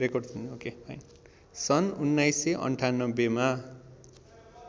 सन् १९९८ मा